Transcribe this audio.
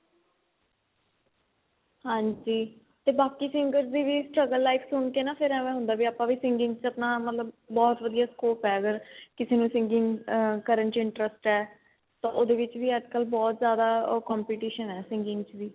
ਹਾਂਜੀ ਤੇ ਬਾਕੀ singers ਦੀ ਵੀ struggle life ਸੁਣ ਕੇ ਨਾ ਫੇਰ ਏਵੈ ਹੁੰਦਾ ਵੀ ਆਪਾਂ ਵੀ singing ਚ ਆਪਣਾ ਮਤਲਬ ਬਹੁਤ ਵਧੀਆ scope ਏ ਅਗਰ ਕਿਸੇ ਨੂੰ singing ਕਰਨ ਚ interest ਏ ਤਾਂ ਉਹਦੇ ਵਿੱਚ ਵੀ ਅੱਜਕਲ ਬਹੁਤ ਜਿਆਦਾ competition ਏ singing ਚ ਵੀ